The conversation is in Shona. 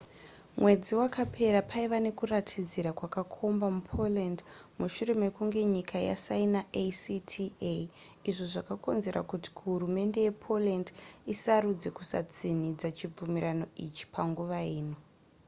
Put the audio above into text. mwedzi wakapera paiva nekuratidzira kwakakomba mupoland mushure mekunge nyika yasaina acta izvo zvakakonzera kuti kuhurumende yepoland isarudze kusatsinhidza chibvumirano ichi panguva ino